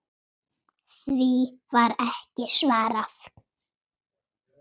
Því var ekki svarað.